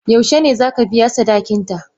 Yaushe ne za ka biya sadakinta?